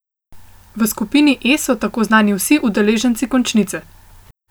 V skupini E so tako znani vsi udeleženci končnice.